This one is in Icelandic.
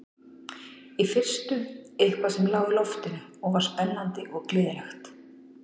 Í fyrstu eitthvað sem lá í loftinu og var spennandi og gleðilegt.